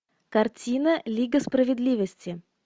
картина лига справедливости